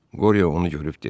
Qoryo onu görüb dedi: